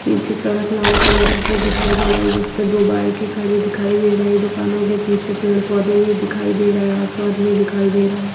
नीचे सड़क लाल कलर की दिखाई दे रही जिस पर दो बाइकें खड़ी दिखाई दे रही हैं दुकानो के पीछे पेड़ पौधे भी दिखाई दे रहा है आसमान में दिखाई दे रहा है।